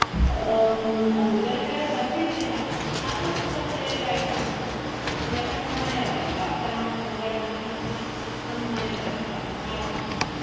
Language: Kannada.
ಹ್ಮ್ ಹುಡುಗನ ಕಡೆಯವರು ಬಂದಿರ್ಲಿಲ್ಲ ಆದ್ರು ಸ್ವಲ್ಪ late ಆಯ್ತು ಅನ್ಸ್ತು ಅಂದ್ರೆ ಯಾಕಂದ್ರೆ ನಾವು ಮನೆಯವರಲ್ವ ಅಕ್ಕನ ಮ~ ಮಗಳಂದ್ರೆ ನ~ ನ~ ನ~ ನ~ ನಮ್ಮ ಮನೆಯವರೇ ಅಲ್ವ ಹಾಗಾಗಿ.